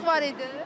Sıxlıq var idi?